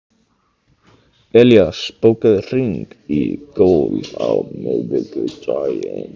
Elías, bókaðu hring í golf á miðvikudaginn.